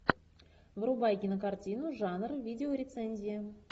врубай кинокартину жанр видеорецензия